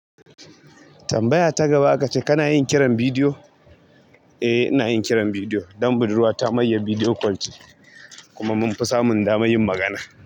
Tambaya ta gaba akace kana yin kiran bidiyo? Eh ina yin kiran bidiyo, dan budurwa ta mayar bidiyo kwal ce, kuma mun fi samun damar yin magana.